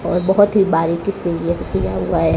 और बहोत ही बारीकी से यह किया हुआ है।